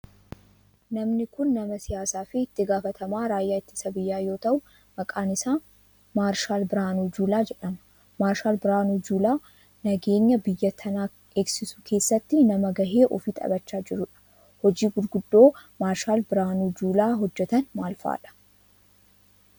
Namni kun nama siyaasaa fi itti gaafatamaa raayyaa ittisa biyyaa yoo ta'u maqaan isaa maarshaal Birahaanuu Juulaa jedhama. Maarshaal Birahaanuu Juulaa nageenta biyya tanaa eegsisuu keessatti nama gahee ofii taphachaa jirudha. Hoji gurguddoo maarshaal Birahaanuu Juulaa hojjetan maal fa'aadha?